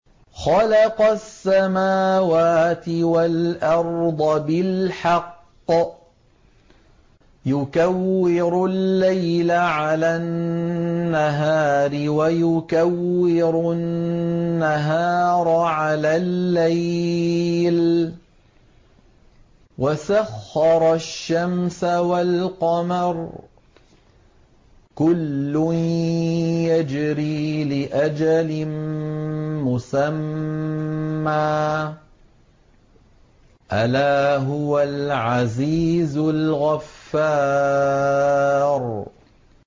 خَلَقَ السَّمَاوَاتِ وَالْأَرْضَ بِالْحَقِّ ۖ يُكَوِّرُ اللَّيْلَ عَلَى النَّهَارِ وَيُكَوِّرُ النَّهَارَ عَلَى اللَّيْلِ ۖ وَسَخَّرَ الشَّمْسَ وَالْقَمَرَ ۖ كُلٌّ يَجْرِي لِأَجَلٍ مُّسَمًّى ۗ أَلَا هُوَ الْعَزِيزُ الْغَفَّارُ